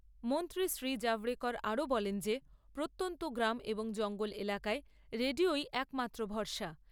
মন্ত্ৰী শ্ৰী জাভড়েকর আরও বলেন যে প্রত্যন্ত গ্রাম এবং জঙ্গল এলাকায় রেডিওই একমাত্র ভরসা।